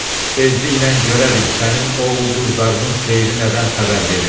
Tezliklə görərik sənin o ulduzlarının seyri nədən xəbər verirmiş.